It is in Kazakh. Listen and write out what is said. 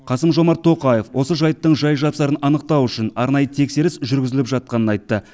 қасым жомарт тоқаев осы жайттың жай жапсарын анықтау үшін арнайы тексеріс жүргізіліп жатқанын айтты